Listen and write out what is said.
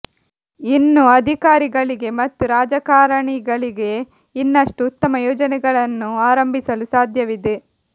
ಇನ್ನೂ ಅಧಿಕಾರಿಗಳಿಗೆ ಮತ್ತು ರಾಜಕಾರಣಿಗಳಿಗೆ ಇನ್ನಷ್ಟು ಉತ್ತಮ ಯೋಜನೆಗಳನ್ನು ಆರಂಭಿಸಲು ಸಾಧ್ಯವಿದೆ